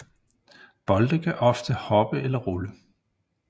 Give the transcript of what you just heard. Bolde kan ofte hoppe eller rulle